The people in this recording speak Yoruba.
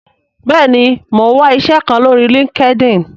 bẹẹni, Mọ n wá iṣé kán lórí Linkedin